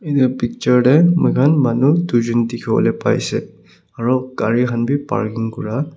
edu picture tae moikhan manu tuijon dikhiwolae paiase aro gari khan bi parking kura.